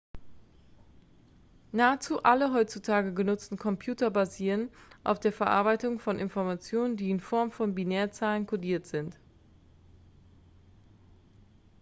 nahezu alle heutzutage genutzten computer basieren auf der verarbeitungen von informationen die in form von binärzahlen codiert sind